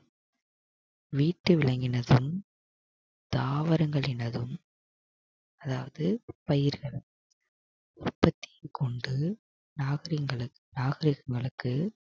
வீட்டு விலங்கினதும் தாவரங்களினதும் அதாவது பயிர்களும் உற்பத்தியும் கொண்டு